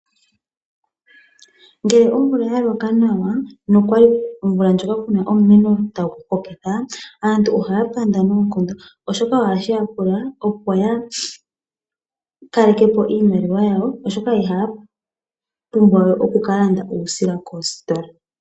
Ngele omvula ya loka nawa nokwali omvula ndjoka kuna omumeno tagu hokitha aantu ohaya panda noonkondo oshoka ohashi ya pula opo ya kaleke po iimaliwa yawo oshoka ihaya pumbwa we oku kalanda uusila kositola.